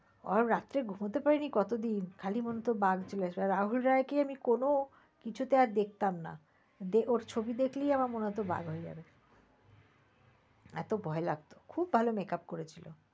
আর রাতে ঘুমাতে পারিনি কত দিন। খালি মনে হত বাঘ চলে আসবে। রাহুল রয়কে আমি কোন কিছুতেই আর দেখতাম না ওর ছবি দেখলেই আমার মনে হত বাঘ হয়ে যাবে। এত ভয় লাগত খুব ভাল makeup করে ছিল।